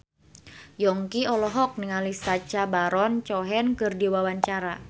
Yongki olohok ningali Sacha Baron Cohen keur diwawancara